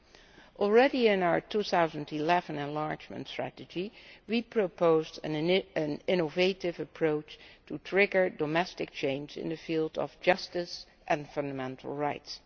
Back in our 2011 enlargement strategy, we proposed an innovative approach to trigger domestic change in the field of justice and fundamental rights.